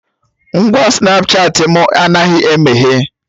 Ngwa Snapchatị mụ anaghị emeghe